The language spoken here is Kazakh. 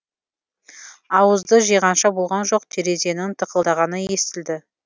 ауызды жиғанша болған жоқ терезенің тықылдағаны естілді